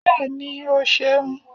bẹẹni, o ṣeun